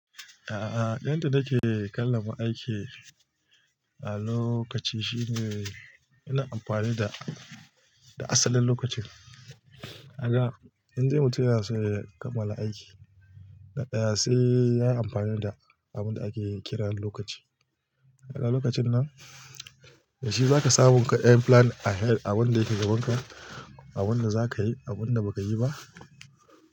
A'a, yanda nake kallon mu aiki a lokaci shine muna amfani da asalin lokacin. A kaga in dai mutum yana so ya kammala aiki na daya sai ya yi amfani da abin da ake kiran lokaci. A haka lokacin nan da shi zaka samu ka ɗan plan ahead abin da yake gaba kan abin da zaka yi, abun da baka yi ba.